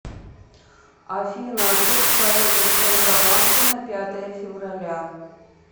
афина курс валюты в центробанке на пятое февраля